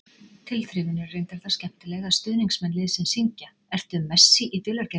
Tilþrifin eru reyndar það skemmtileg að stuðningsmenn liðsins syngja: Ertu Messi í dulargervi?